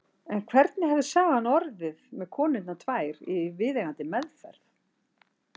En hvernig hefði sagan orðið með konurnar tvær í viðeigandi meðferð?